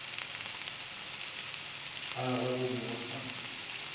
gagwe go be go sa